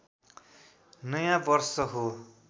नयाँ वर्ष हो